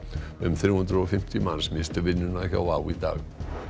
um þrjú hundruð og fimmtíu manns misstu vinnuna hjá WOW í dag